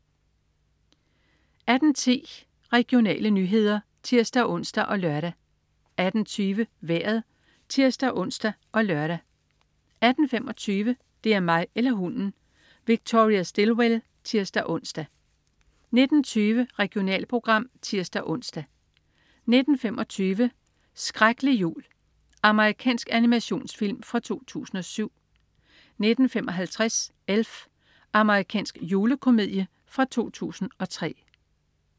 18.10 Regionale nyheder (tirs-ons og lør) 18.20 Vejret (tirs-ons og lør) 18.25 Det er mig eller hunden! Victoria Stilwell (tirs-ons) 19.20 Regionalprogram (tirs-ons) 19.25 Shreklig jul. Amerikansk animationsfilm fra 2007 19.55 Elf. Amerikansk julekomedie fra 2003